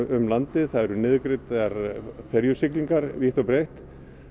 um landið það eru niðurgreiddar ferjusiglingar vítt og breitt